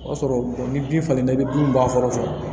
O y'a sɔrɔ ni bin falenna i bɛ bin bɔn kɔrɔsɔrɔ